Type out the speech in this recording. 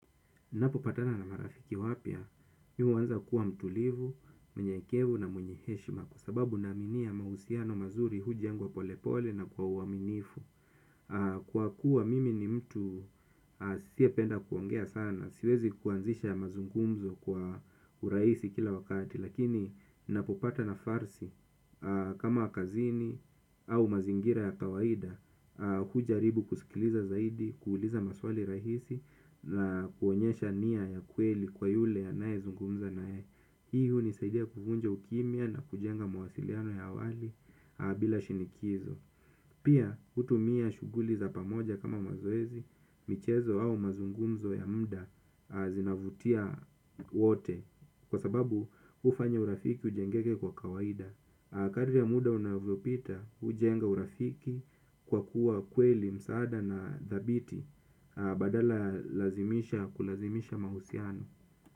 Napopatana na marafiki wapya, mi huanza kuwa mtulivu, mnyenyekevu na mwenye heshima kwa sababu naaminia mahusiano mazuri hujengwa polepole na kwa uaminifu. Kwa kuwa mimi ni mtu asiyependa kuongea sana, siwezi kuanzisha ya mazungumzo kwa urahisi kila wakati. Lakini napopata nafasi kama kazini au mazingira ya kawaida hujaribu kusikiliza zaidi, kuuliza maswali rahisi na kuonyesha nia ya kweli kwa yule ya nayezungumza naye. Hii hunisaidia kuvunja ukimya na kujenga mawasiliano ya awali bila shinikizo. Pia hutumia shuguli za pamoja kama mazoezi. Michezo au mazungumzo ya muda zinavutia wote. Kwa sababu hufanya urafiki ujengeke kwa kawaida. Kadri ya muda unavyopita hujenga urafiki kwa kuwa kweli msaada na dhabiti. Badala ya lazimisha kulazimisha mahusiano.